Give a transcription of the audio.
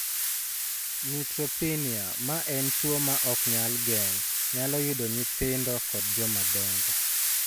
Neutropenia ma en tuwo ma ok nyal geng ' nyalo yudo nyithindo koda jomadongo.